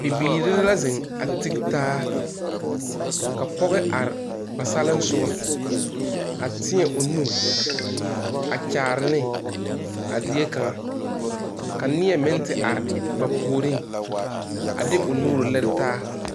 Bibiiri la zeŋ a tige taa ka pɔge are ba salensoga a teɛ o nu a kyaare ne a zie kaŋa ka neɛ meŋ te are ba puoriŋ o de o nu lere taa.